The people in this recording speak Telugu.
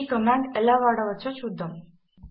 ఈ కమాండ్ ఎలా వాడవచ్చో చూద్దాము